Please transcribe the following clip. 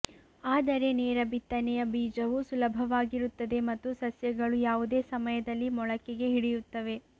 ಆದರೆ ನೇರ ಬಿತ್ತನೆಯ ಬೀಜವು ಸುಲಭವಾಗಿರುತ್ತದೆ ಮತ್ತು ಸಸ್ಯಗಳು ಯಾವುದೇ ಸಮಯದಲ್ಲಿ ಮೊಳಕೆಗೆ ಹಿಡಿಯುತ್ತವೆ